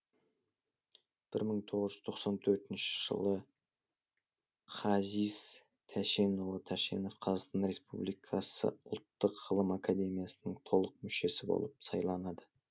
бір мың тоғыз жүз тоқсан төртінші жылы қазис тәшенұлы тәшенов қазақстан республикасы ұлттық ғылым академиясының толық мүшесі болып сайланады